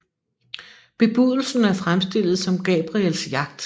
Bebudelsen er fremstillet som Gabriels jagt